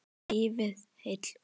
Lifið heil og skál!